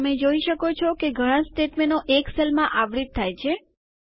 તમે જોઈ શકો છો કે ઘણા સ્ટેટમેન્ટો એક સેલમાં આવરિત થાય છે